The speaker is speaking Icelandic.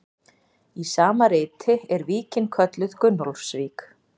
Í sama riti er víkin kölluð Gunnólfsvík.